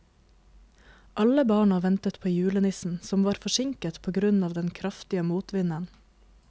Alle barna ventet på julenissen, som var forsinket på grunn av den kraftige motvinden.